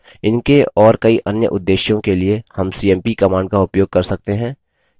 इनके और कई अन्य उद्देश्यों के लिए हम cmp command का उपयोग कर सकते हैं